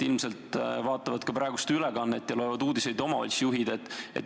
Ilmselt vaatavad praegu seda ülekannet ja loevad uudiseid ka omavalitsuste juhid.